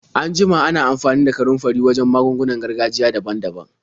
An jima ana amfani da kanunfari wajen magungunan gargajiya daban-daban.